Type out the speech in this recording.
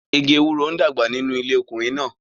Igi ewuroń dàgbà nínú ilé ọkùnrin náà.